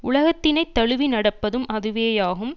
உலகத்தினைத் தழுவி நடப்பதும் அதுவேயாகும்